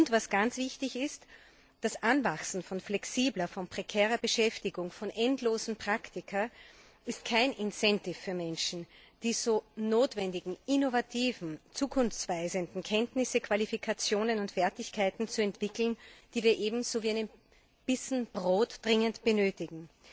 Und was ganz wichtig ist Das Anwachsen von flexibler, von prekärer Beschäftigung, von endlosen Praktika, ist kein Anreiz für Menschen, die so notwendigen innovativen, zukunftsweisenden Kenntnisse, Qualifikationen und Fertigkeiten zu entwickeln, die wir ebenso wie einen Bissen Brot dringend benötigen.